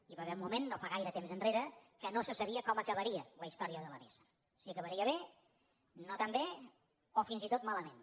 hi va haver un moment no fa gaire temps que no se sabia com acabaria la història de la nissan si acabaria bé no tan bé o fins i tot malament